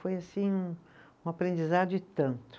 Foi, assim um, um aprendizado e tanto.